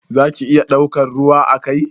Za ki iya daukan ruwa a kai?